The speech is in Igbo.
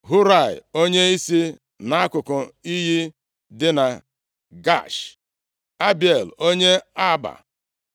Hurai onye si nʼakụkụ iyi dị na Gaash, Abiel onye Arba,